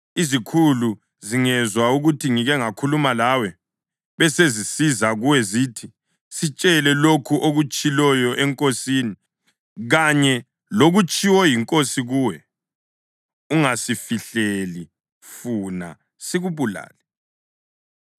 Izikhulu zingezwa ukuthi ngike ngakhuluma lawe, besezisiza kuwe zithi, ‘Sitshele lokho okutshiloyo enkosini kanye lokutshiwo yinkosi kuwe; ungasifihleli funa sikubulale,’